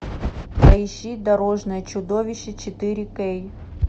поищи дорожное чудовище четыре кей